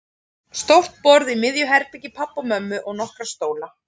Stórt borð í miðju herbergi pabba og mömmu og nokkra stóla.